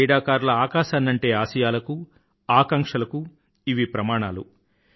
భారతీయ క్రీడాకారుల ఆకాశాన్నంటే ఆశయాలకు ఆకాంక్షలకూ ఇవి ప్రమాణాలు